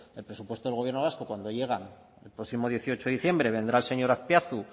que el presupuesto del gobierno vasco cuando llega el próximo dieciocho diciembre vendrá el señor azpiazu